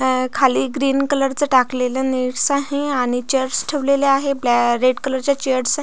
अ खाली green colour च टाकलेल नेटस् आहे आणि चेयर्स ठेवलेल्या आहे ब्लॅ रेड कलर च्या चेयर्स आहे.